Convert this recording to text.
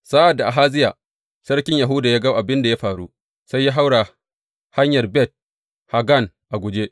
Sa’ad da Ahaziya sarkin Yahuda ya ga abin da ya faru, sai ya haura hanyar Bet Haggan a guje.